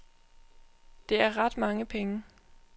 Det er ret mange penge.